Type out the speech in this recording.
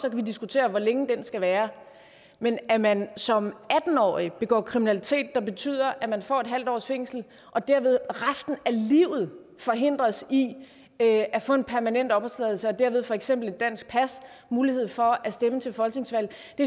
vi diskutere hvor lang den skal være men at man som atten årig begår kriminalitet der betyder at man får en halv års fængsel og derved resten af livet forhindres i at at få en permanent opholdstilladelse og dermed for eksempel et dansk pas og mulighed for at stemme til folketingsvalg